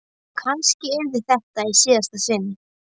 Og kannski yrði þetta í síðasta sinn.